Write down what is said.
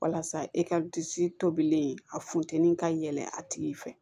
Walasa e ka disi tobilen a funteni ka yɛlɛ a tigi fɛ